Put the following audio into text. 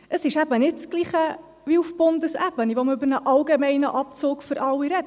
Es ist eben nicht das Gleiche wie auf Bundesebene, wo man über einen allgemeinen Abzug für alle redet.